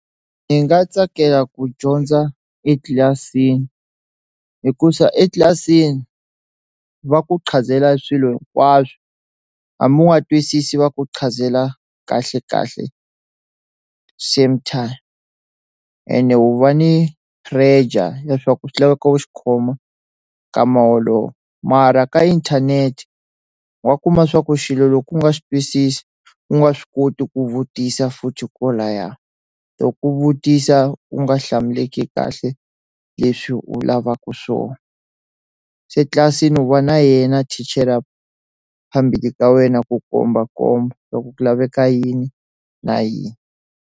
Ndzi nga tsakela ku dyondza etlilasini hikuza etlilasini va ku qhanzela swilo hinkwaswo hambi wa twisisi va ku qhanzela kahle kahle same time ene wu va ni pressure leswaku swi laveka u xikhoma ka moholo mara ka inthanete wa kuma swa ku xilo loku nga swi twisisi u nga swi koti ku vutisa futhi loko laya to ku vutisa u nga hlamuleki kahle leswi u lavaka swona se tlilasini u va na yena thichela phambili ka wena ku kombakomba ku ku laveka yini na yini.